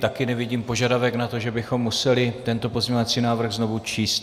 Také nevidím požadavek na to, že bychom museli tento pozměňovací návrh znovu číst.